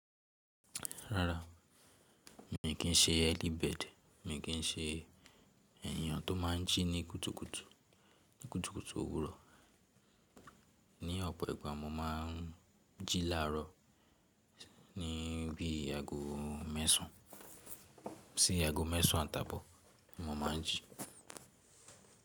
Rárá, mi kì í se early bird. Mi kì í se èèyàn tó má n jí ní kùtùkùtù, ní kùtùkùtù òwúrọ̀. Ni ọ̀pọ̀ ìgbà mo ma n jí láàárọ̀ ni bí i aago mẹ́sàn. Sí í aago mẹ́sàn àtàpọ̀ mo ma n jí.